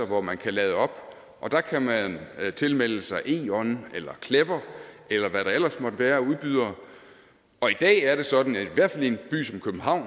hvor man kan lade op og der kan man tilmelde sig eon eller clever eller hvad der ellers måtte være af udbydere og i dag er det sådan at i hvert fald i en by som københavn